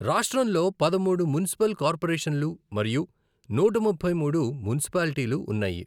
రాష్ట్రంలో పదమూడు మున్సిపల్ కార్పొరేషన్లు మరియు నూట ముప్పై మూడు మున్సిపాల్టీలు ఉన్నాయి.